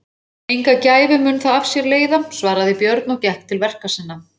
Enga gæfu mun það af sér leiða, svaraði Björn og gekk til verka sinna.